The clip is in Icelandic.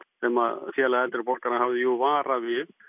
sem Félag eldri borgara hafði jú varað við